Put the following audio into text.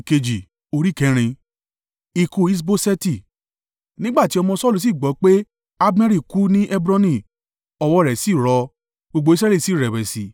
Nígbà tí ọmọ Saulu sì gbọ́ pé, Abneri kú ní Hebroni, ọwọ́ rẹ̀ sì rọ, gbogbo Israẹli sì rẹ̀wẹ̀sì.